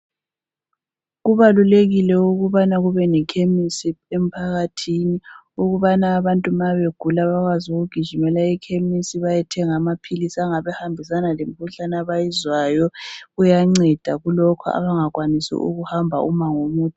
Kubalulekile ukubana kube lekhemisi emphakathini, ukubana abantu nxa begula bakwazi ukugijimela ekhemisi bayethenga amaphilisi angabe ehambisana lemikhuhlane abayizwayo. Kuyanceda kulokhu abangakwanisi ukuhamba umango omude.